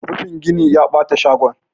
rufin gini ya bata shagon